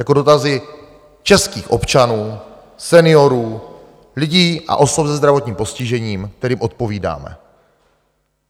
Jako dotazy českých občanů, seniorů, lidí a osob se zdravotním postižením, kterým odpovídáme.